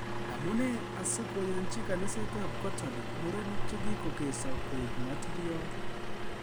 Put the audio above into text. Amune asikoyanji kaniset ab katolic murenik chekikokesooh koik matiryot